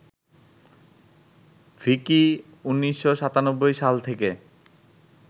ভিকি ১৯৯৭ সাল থেকে